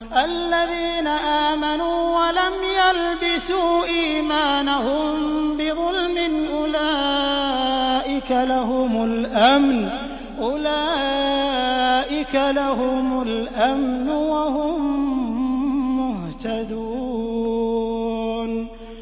الَّذِينَ آمَنُوا وَلَمْ يَلْبِسُوا إِيمَانَهُم بِظُلْمٍ أُولَٰئِكَ لَهُمُ الْأَمْنُ وَهُم مُّهْتَدُونَ